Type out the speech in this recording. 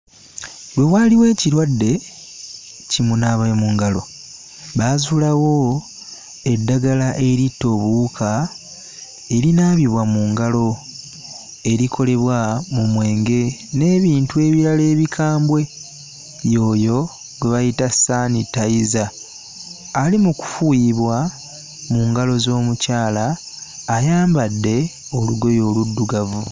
Lwe waaliwo ekiradde kimunaabamungalo baazuulawo eddagala eritta obuwuka erinaabibwa mu ngalo erikolebwa mu mwenge n'ebintu ebirala ebikambwe y'oyo gwe gwe bayita saanitayiza ali mu kufuuyirwa mu ngalo z'omukyala ayambadde olugoye oluddugavu.